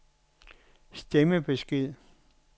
stemmebesked